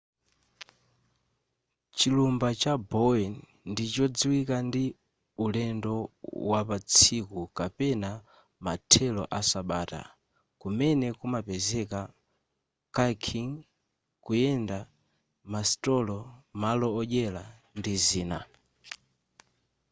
chilumba cha bowen ndi chodziwika ndi ulendo wapatsiku kapena mathelo asabata kumene kumapezeka kayaking kuyenda masitolo malo odyera ndi zina